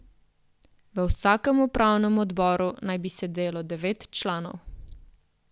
V vsakem upravnem odboru naj bi sedelo devet članov.